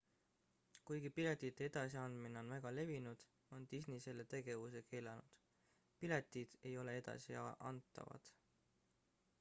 kuigi piletite edasi andmine on väga levinud on disney selle tegevuse keelanud piletid ei ole edasi antavad